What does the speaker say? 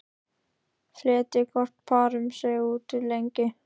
Fletjið hvorn part um sig út í lengju.